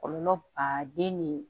Kɔlɔlɔ baden ni